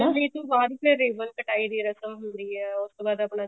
ਮਿਲਣੀ ਤੋਂ ਬਾਅਦ ਫੇਰ ribbon ਕਟਾਈ ਦੀ ਰਸਮ ਹੁੰਦੀ ਹੈ ਉਸ ਤੋਂ ਬਾਅਦ ਆਪਣਾ